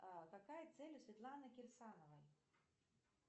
а какая цель у светланы кирсановой